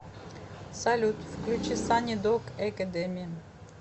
салют включи сани дог экэдеми